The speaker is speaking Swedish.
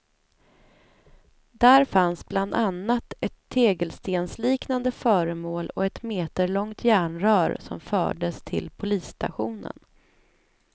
Där fanns bland annat ett tegelstensliknande föremål och ett meterlångt järnrör som fördes till polisstationen.